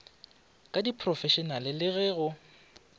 ka diphrofešenale le ge go